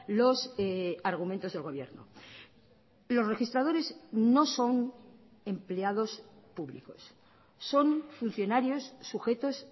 los argumentos del gobierno los registradores no son empleados públicos son funcionarios sujetos